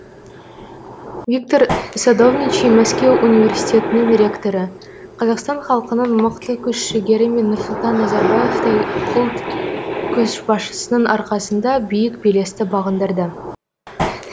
виктор садовничий мәскеу университетінің ректоры қазақстан халқының мықты күш жігері мен нұрсұлтан назарбаевтай ұлт көшбасшысының арқасында биік белесті бағындырды